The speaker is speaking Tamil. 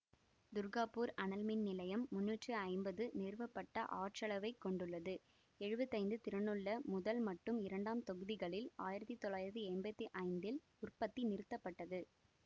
துர்காபூர் அனல்மின் நிலையம் முன்னூற்றி ஐம்பது நிறுவப்பட்ட ஆற்றளவை கொண்டுள்ளது எழுவத்தி ஐந்து திறனுள்ள முதல் மட்டும் இரண்டாம் தொகுதிகளில் ஆயிரத்தி தொள்ளாயிரத்தி எம்பத்தி ஐந்தில் உற்பத்தி நிறுத்தப்பட்டது